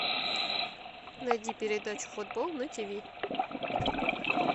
найди передачу футбол на тв